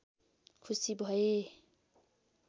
खुसी भए